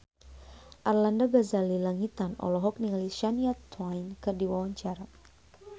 Arlanda Ghazali Langitan olohok ningali Shania Twain keur diwawancara